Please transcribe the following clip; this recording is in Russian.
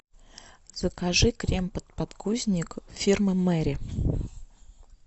закажи крем под подгузник фирмы мэри